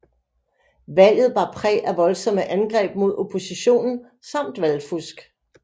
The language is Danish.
Valget bar præg af voldsomme angreb mod oppositionen samt valgfusk